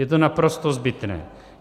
Je to naprosto zbytné.